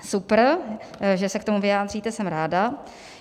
Super, že se k tomu vyjádříte, jsem ráda.